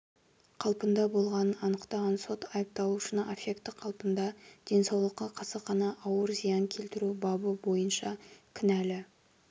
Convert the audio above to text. қалпында болғанын анықтаған сот айыпталушыны аффекті қалпында денсаулыққа қасақана ауыр зиян келтіру бабы бойынша кінәлі